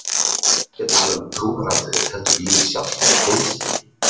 Nú er ég ekki að tala um trúaratriði heldur lífið sjálft í heild sinni.